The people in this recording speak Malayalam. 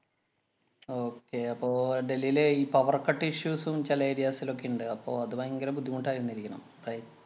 ഏർ അപ്പൊ ഡൽഹിയിലെ ഈ powercut issues ഉം ചെല areas ലൊക്കെ ഇണ്ട്. അപ്പൊ അത് ഭയങ്കര ബുദ്ധിമുട്ടായിരുന്നിരിക്കണം. അഹ്